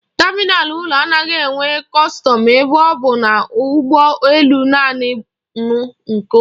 Tamịnal ụlọ anaghị enwe kọstọm ebe ọ bụ na ụgbọ elu niile nụ nke ụlọ.